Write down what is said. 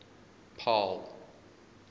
paarl